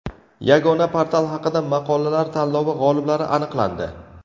Yagona portal haqida maqolalar tanlovi g‘oliblari aniqlandi.